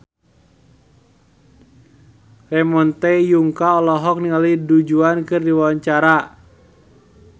Ramon T. Yungka olohok ningali Du Juan keur diwawancara